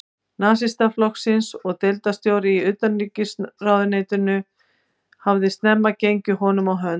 Nasistaflokksins og deildarstjóri í utanríkisráðuneytinu, hafði snemma gengið honum á hönd.